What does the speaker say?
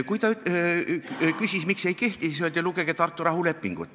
Kui ta küsis, miks ei kehti, öeldi talle, et lugege Tartu rahulepingut.